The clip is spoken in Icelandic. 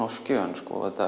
á skjön